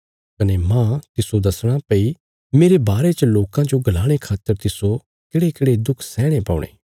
कने माह तिस्सो दसणा भई मेरे बारे च लोकां जो गलाणे खातर तिस्सो केढ़ेकेढ़े दुख सैहणे पौणे